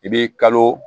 I b'i kalo